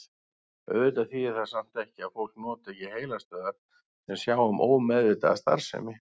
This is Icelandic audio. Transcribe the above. Auðvitað þýðir það samt ekki að fólk noti ekki heilastöðvar sem sjá um ómeðvitaða starfsemi.